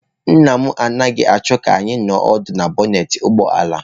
Nna m anaghị achọọ ka anyị nọ ọdụ na bọnetị ụgbọ ala.